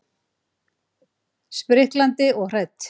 Spriklandi og hrætt.